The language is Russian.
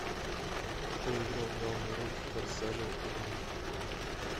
кто играл главную роль в форсаже один